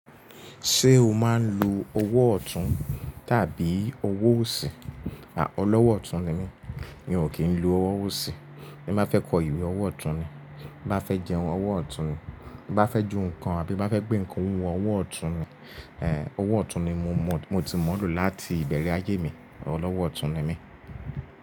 Ṣé o máa ń lo owó ọ̀tún tàbí owó òsì? À ọ̀lọ́wọ́ ọ̀tún ni mí, mi ò kí ń lo owó òsì. Bí mo fẹ́ kọ ìwé, owó ọ̀tún ni, bá fẹ́ jẹun, owó ọ̀tún ni, bá fẹ́ ju nǹkan àbí bá fẹ́ gbé nǹkan wù ú, owó ọ̀tún ni. Eh owó ọ̀tún ni mo mọ̀, mo ti mọ̀ ọ́ lò láti ìbẹ̀rẹ̀ ayé mi, ọlọ́wọ́ ọ̀tún ni mí.